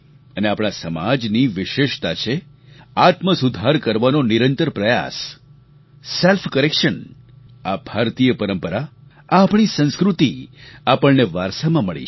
અને આપણા સમાજની વિશેષતા છે આત્મસુધાર કરવાનો નિરંતર પ્રયાસ સેલ્ફ કરેક્શન આ ભારતીય પરંપરા આ આપણી સંસ્કૃતિ આપણને વારસામાં મળી છે